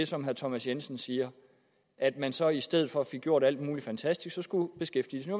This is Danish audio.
som herre thomas jensen siger at man så i stedet for fik gjort alt muligt fantastisk skulle beskæftigelsen